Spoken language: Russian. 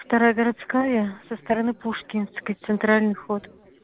вторая городская со стороны пушкинской центральный вход